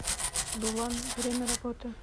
дулан время работы